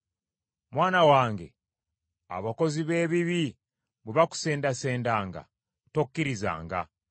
Mwana wange abakozi b’ebibi bwe bakusendasendanga, tokkirizanga.